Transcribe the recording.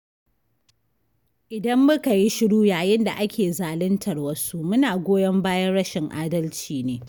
Idan muka yi shuru yayin da ake zaluntar wasu muna goyon bayan rashin adalci ne.